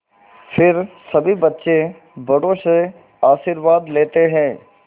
फिर सभी बच्चे बड़ों से आशीर्वाद लेते हैं